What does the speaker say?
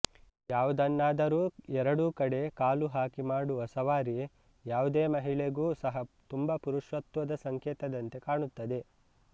ಯಾವುದನ್ನಾದರೂ ಎರಡೂ ಕಡೆ ಕಾಲು ಹಾಕಿ ಮಾಡುವ ಸವಾರಿ ಯಾವುದೇ ಮಹಿಳೆಗೂ ಸಹ ತುಂಬಾ ಪುರುಷತ್ವದ ಸಂಕೇತದಂತೆ ಕಾಣುತ್ತದೆ